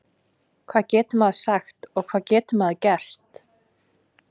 Hvað getur maður sagt og hvað getur maður gert?